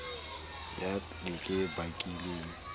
ya ka ke e bakilweng